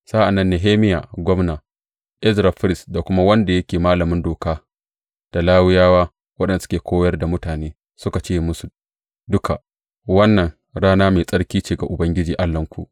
Sa’an nan Nehemiya gwamna, Ezra firist da kuma wanda yake malamin Doka, da Lawiyawa waɗanda suke koyar da mutane, suka ce musu duka, Wannan rana mai tsarki ce ga Ubangiji Allahnku.